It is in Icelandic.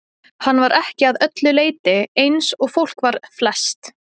Hann var ekki að öllu leyti eins og fólk var flest.